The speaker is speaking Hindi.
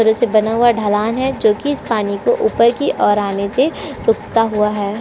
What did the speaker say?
पर उसे बना हुआ ढलान है जो की उस पानी को ऊपर की ओर आने से रोकता हुआ है।